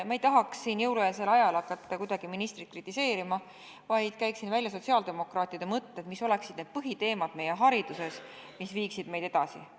Ma ei tahaks siin jõulueelsel ajal hakata kuidagi ministrit kritiseerima, vaid käiksin välja sotsiaaldemokraatide mõtted, mis oleksid need põhiteemad meie hariduses, mille arendamine viiks meid edasi.